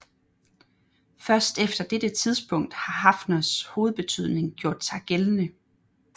Først efter dette tidspunkt har Haffners hovedbetydning gjort sig gældende